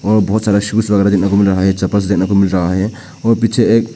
और बहुत सारा शूज वगैरह देखने को मिल रहा है ये चप्पल देखने को मिल रहा है और पीछे एक--